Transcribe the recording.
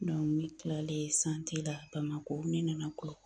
ne tilalen la Bamakɔ ne nana n kɔrɔ